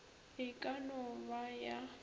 e ka no ba ya